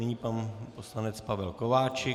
Nyní pan poslanec Pavel Kováčik.